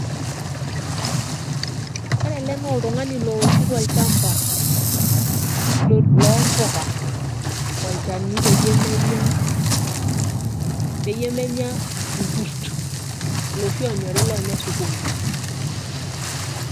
Ore ele na oltung'ani looshito olchamba lompuka olchani peyie menya, peyie menya irkurt loshi onyori lonya sukuma.